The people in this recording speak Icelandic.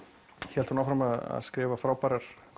hélt hún áfram að skrifa frábærar